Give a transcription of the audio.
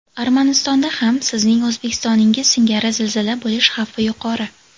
Armanistonda ham, sizning O‘zbekistoningiz singari zilzila bo‘lish xavfi yuqori.